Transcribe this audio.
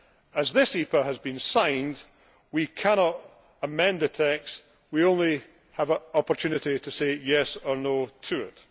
As this EPA has been signed, we cannot amend the text, we only have an opportunity to say yes' or no' to it.